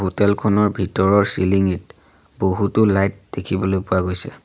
Hotel খনৰ ভিতৰৰ চিলিংঙিত বহুতো লাইট দেখিবলৈ পোৱা গৈছে।